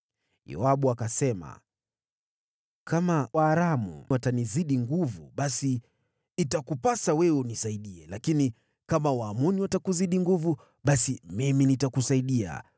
Yoabu akasema, “Kama Waaramu watanizidi nguvu, basi itakupasa wewe unisaidie; lakini kama Waamoni watakuzidi nguvu, basi mimi nitakusaidia.